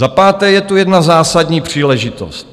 Za páté, je tu jedna zásadní příležitost.